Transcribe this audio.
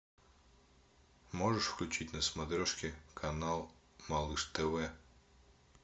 можешь включить на смотрешке канал малыш тв